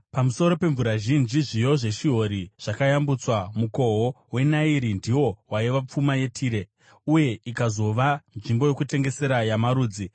Pamusoro pemvura zhinji zviyo zveShihori zvakayambutswa; mukoho weNairi ndiwo waiva pfuma yeTire, uye ikazova nzvimbo yokutengesera yamarudzi.